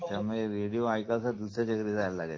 त्यामुळे रेडिओ ऐकण्यासाठी दुसऱ्याच्या घरी जावं लागायचं